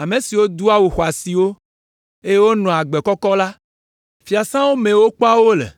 ame siwo doa awu xɔasiwo, eye wonɔa agbe kɔkɔ la, fiasãwo mee wokpɔa wo le.